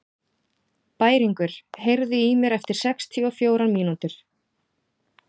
Bæringur, heyrðu í mér eftir sextíu og fjórar mínútur.